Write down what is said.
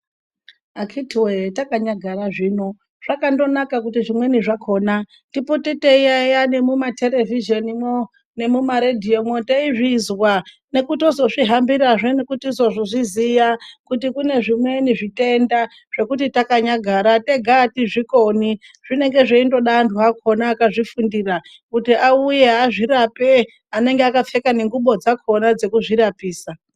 Akhiti woye takanyagara zvino zvakandonaka kuti zvimweni zvakhona tipote teiyaiya nemumaterevhizhenimwo nemumaredhiyomwo teizvizwa nekutozozvihambirazve nekutozozviziya kuti kune zvimweni zvitenda zvekuti takanyagara tega atizvikoni zvinenge zveindoda antu akhona akazvifundira kuti auye azvirape anenge akapfeka nengubo dzakhona dzekuzvirapisa.